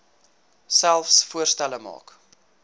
selfs voorstelle maak